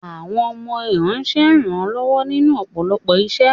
Àwọn ọmọ iranṣé ń ran lọwọ ninu ọpọlọpọ iṣẹ